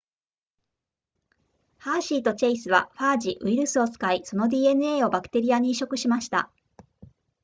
ハーシーとチェイスはファージウイルスを使いその dna をバクテリアに移植しました